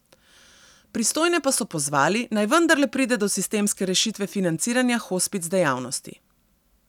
Pristojne pa so pozvali, naj vendarle pride do sistemske rešitve financiranja hospic dejavnosti.